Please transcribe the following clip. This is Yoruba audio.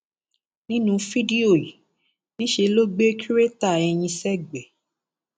nínú fídíò yìí niṣẹ ló gbé kírèéta eyín sẹgbẹẹ